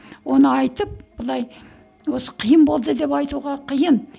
оны айтып былай осы қиын болды деп айтуға қиын